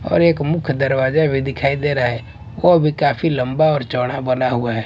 और एक मुख्य दरवाजा भी दिखाई दे रहा है वह भी काफी लंबा और चौड़ा बना हुआ है।